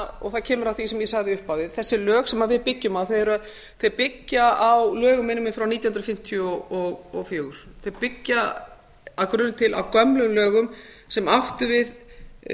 og það kemur að því sem ég sagði í upphafi þessi lög sem við byggjum á byggja á lögum minnir mig frá nítján hundruð fimmtíu og fjögur þau byggja að grunni til á gömlum lögum sem áttu við